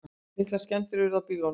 Miklar skemmdir urðu á bílunum